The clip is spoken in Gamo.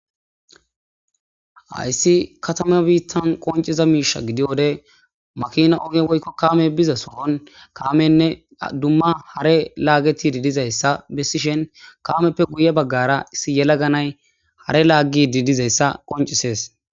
hayssi katama biittan qonciza miisha gidi wode makina oge woykko kaame biza sohon kaamenne dumma hare laagetidi dizayssa bessishen kaameppe guye baggara issi yelaganay hare laagi didizayssa qoncisees